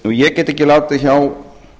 ég get ekki látið hjá